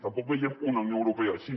tampoc veiem una unió europea així